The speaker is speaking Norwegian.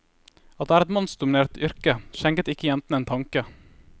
At det er et mannsdominert yrke, skjenket ikke jentene en tanke.